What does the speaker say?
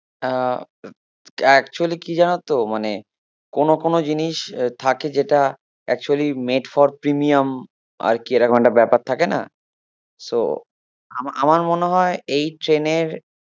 হ্যাঁ actually কি জানোতো মানে, কোনো কোনো জিনিস থাকে যেটা actually made for premium আর কি এরকম একটা ব্যাপার থাকে না so আমা~ আমার মনে হয় এই ট্রেনের